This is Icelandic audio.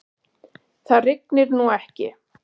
Það rignir nú ekki.